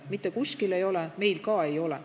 Mitte kuskil ei ole, meil ka ei ole.